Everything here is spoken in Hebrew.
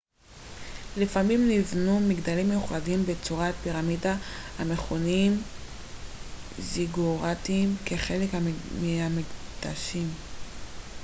לפעמים נבנו מגדלים מיוחדים בצורת פירמידה המכונים זיגוראטים כחלק מהמקדשים